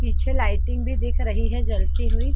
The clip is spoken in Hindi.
पीछे लाइटिंग भी दिख रही है जलती हुई --